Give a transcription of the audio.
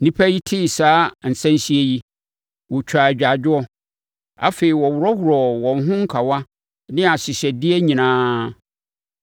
Nnipa yi tee saa nsɛnhyeɛ yi, wɔtwaa agyaadwoɔ. Afei, wɔworɔworɔɔ wɔn ho nkawa ne ahyehyɛdeɛ nyinaa.